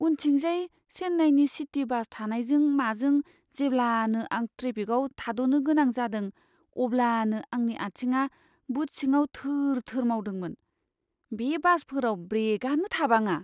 उनथिंजाय चेन्नाइनि city bus थानायजों माजों जेब्लानो आं ट्रेफिकाव थाद'नो गोनां जादों, अब्लानो आंनि आथिङा बुट सिङाव थोर थोर मावदोंमोन। बे बासफोराव ब्रेकआनो थाबाङा।